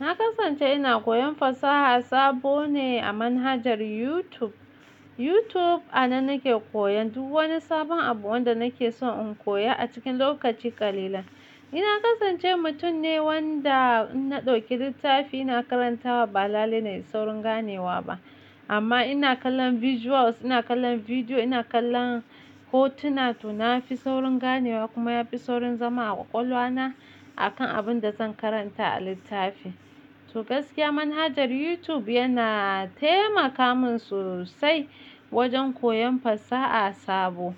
Na kasance ina koyon fasaha sabo ne a manhajar YouTube. YouTube anan nake koyan duk wani sabon abu wanda nake son in koya a cikin lokaci kalilan. Ni kasance mutum ne wanda na ɗauki littafi ina karantawa, ba lallai nayi saurin ganewa ba. Amma ina kallon visuals, ina kallon bidiyo, ina kallon hotuna, to na fi saurin ganewa kuma ya fi saurin zama a ƙwaƙwalwa na akan abin da zan karanta a littafi. To gaskiya manhajar YouTube yana taimaka min sosai wajen koyon fasaha sabo.